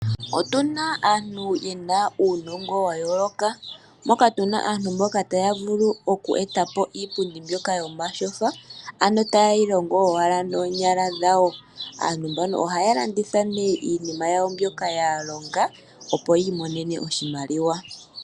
Otu na aantu ye na uunongo wa yooloka. Moka tu na aantu mboka taya vulu oku e ta po iipundi mbyoka yomatyofa, ano taye yi longo owala noonyala dhawo. Aantu mbano ohaya landitha nee iinima yawo mbyoka ya longa, opo yi imonene oshimaliwa.